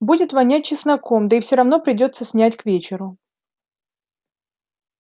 будет вонять чесноком да и всё равно придётся снять к вечеру